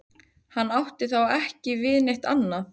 Hann átti þá ekki við neitt annað.